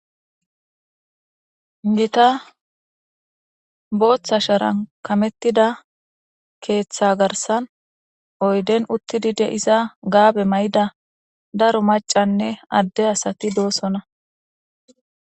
Gita bota sharan kametida keta garsan oyden uthidi de'za gabe mayida daro mac'ane ade asati dosona.